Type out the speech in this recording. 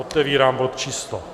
Otevírám bod číslo...